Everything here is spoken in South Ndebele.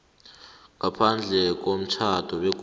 ngaphandle komtjhado begodu